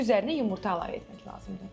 İndi üzərinə yumurta əlavə etmək lazımdır.